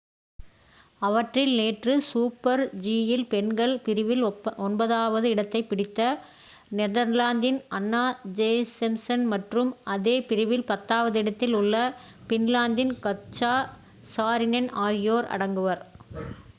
அவற்றில் நேற்று சூப்பர்-ஜி யில் பெண்கள் பிரிவில் ஒன்பதாவது இடத்தைப் பிடித்த நெதர்லாந்தின் அன்னா ஜோசெம்சன் மற்றும் அதே பிரிவில் பத்தாவது இடத்தில் உள்ள பின்லாந்தின் கத்ஜா சாரினென் ஆகியோர் அடங்குவர்